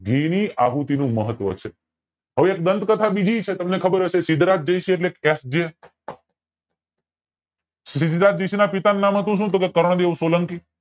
ઘી ની આહુતિ ની મહત્વ છે હવે એક ગ્રંથ કથા બીજી છે તમને ખબર હોય તો સિદ્ધરાજ જયસિંહ સિદ્ધરાજ જયસિંહ ના પિતાનું નામ સુ હતું ટોકે કરણદેવ સોલંકી